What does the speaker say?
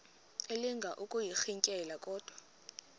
elinga ukuyirintyela kodwa